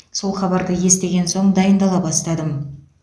сол хабарды естіген соң дайындала бастадым